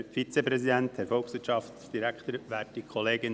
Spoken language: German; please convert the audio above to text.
Ich spreche gleich über beide Vorlagen.